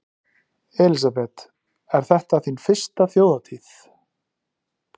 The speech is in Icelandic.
Elísabet: Er þetta þín fyrsta Þjóðhátíð?